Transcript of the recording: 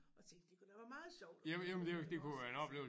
Og tænkte det kunne da være meget sjovt at prøve iggås altså